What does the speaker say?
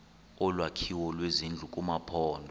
olwakhiwo lwezindlu kumaphondo